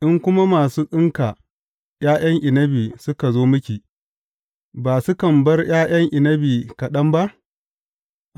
In kuma masu tsinka ’ya’yan inabi suka zo miki, ba sukan bar ’ya’yan inabi kaɗan ba?